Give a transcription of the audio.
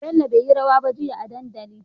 Bello beyi rawa ba jia a dandali